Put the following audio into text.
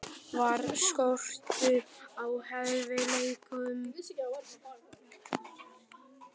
Var skortur á hæfileikum?